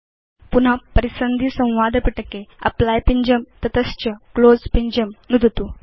पुन परिसन्धि संवादपिटके एप्ली पिञ्जं नुदतु तत च क्लोज़ पिञ्जं नुदतु